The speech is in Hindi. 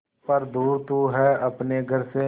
पर दूर तू है अपने घर से